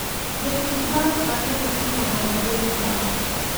Jotich bank mangeny timo ohand gwen e bathe